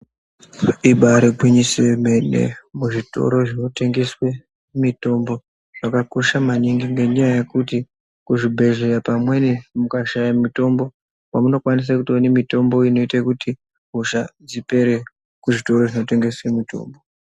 Ibaari ngwinyiso yemene , muzvitoro zvinotengeswe mitombo, zvakakosha maningi , ngenyaya yekuti kuzvibhedhleya pamweni, mukashaye mitombo ,kwemunokwanise kuone mitombo inoite kuti hosha dzipere, kuzvitoro zvinotengese mitombo.